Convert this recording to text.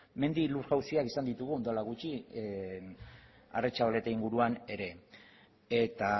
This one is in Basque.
mendi lur jauziak izan ditugu orain dela gutxi aretxabaleta inguruan ere eta